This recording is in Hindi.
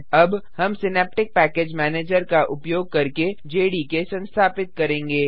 अब हम सिनैप्टिक पैकेज मैनेजर का उपयोग करके जेडीके संस्थापित करेंगे